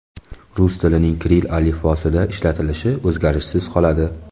Rus tilining kirill alifbosida ishlatilishi o‘zgarishsiz qoladi.